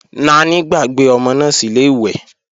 Naní gbàgbé ọmọ náà sílè ìwẹ̀